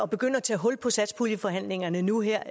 begynde at tage hul på satspuljeforhandlingerne nu her